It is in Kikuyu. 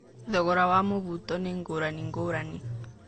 Thogora wa mũbuto nĩ ngũrani ngũrani.